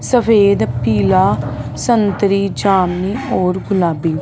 सफेद पीला संतरे चांदनी और गुलाबी--